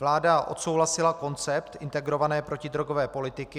Vláda odsouhlasila koncept integrované protidrogové politiky.